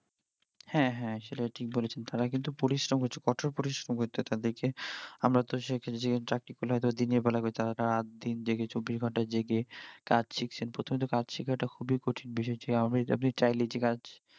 হ্যাঁ হ্যাঁ সেটা ঠিক বলেছেন, তারা কিন্তু পরিশ্রম করছে কোঠর পরিশ্রম করছে, আমারা তো চাকরি পেলে হইত দিনের বেলা করি, তারা তো রাত দিন জেগে চব্বিশ ঘন্টা জেগে কাজ শিখছেন, প্রথমে তো কাজ শেখা টা খুবি কঠিন বিষয়, যে চাইলেই যে কাজ